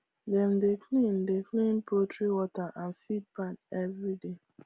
dem dey clean dey clean poultry water and feed pan every day